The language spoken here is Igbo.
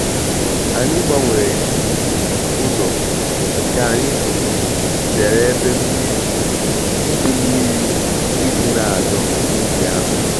Anyị gbanwere um ụzọ ka anyị um zere ebe mmiri idi mmiri idi na adọ n’ubi ahụ.